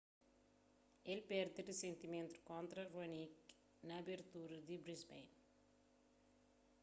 el perde risentimenti kontra raonic na abertura di brisbane